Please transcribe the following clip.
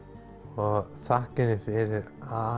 og þakka henni fyrir